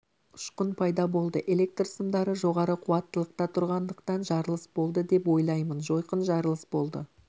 ұшқын пайда болды электр сымдары жоғары қуаттылықта тұрғандықтан жарылыс болды деп ойлаймын жойқын жарылыс болды